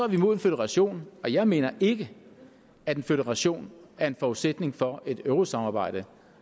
vi imod en føderation og jeg mener ikke at en føderation er en forudsætning for et eurosamarbejde